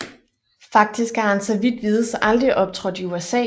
Faktisk har han så vidt vides aldrig optrådt i USA